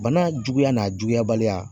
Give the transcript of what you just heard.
Bana juguya n'a juguyabaliya